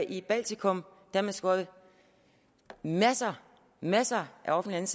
i baltikum har man skåret masser masser af offentligt